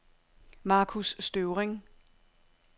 Markus Støvring